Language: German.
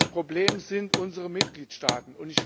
Das Problem sind unsere Mitgliedstaaten.